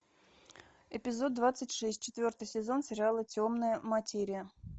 эпизод двадцать шесть четвертый сезон сериала темная материя